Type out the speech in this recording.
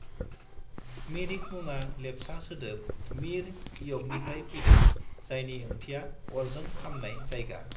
मिरिक मुङा लेप्चा सोदोब मीर-य'कनिफ्राय फैदों जायनि ओंथिया "अरजों खामनाय जायगा"।